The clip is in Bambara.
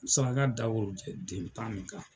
Saraka da worojɛ den tan nin kan.